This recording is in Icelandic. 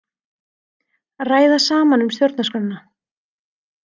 Ræða saman um stjórnarskrána